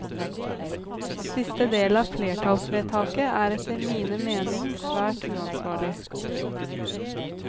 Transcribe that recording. Siste del av flertallsvedtaket er etter mine mening svært uansvarlig.